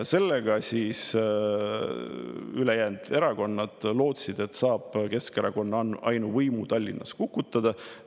Sellega siis, ülejäänud erakonnad lootsid, saab Keskerakonna ainuvõimu Tallinnas kukutada.